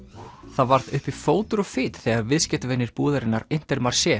það varð uppi fótur og fit þegar viðskiptavinir búðarinnar